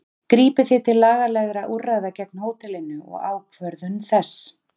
Grípið þið til lagalegra úrræða gegn hótelinu og ákvörðun þess?